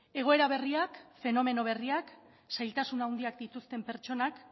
egoera berriak fenomeno berriak zailtasun handiak dituzten pertsonak